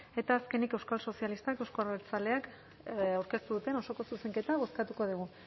eta azkenik euskal sozialistak euzko abertzaleak aurkeztu duten osoko zuzenketa bozkatu dugu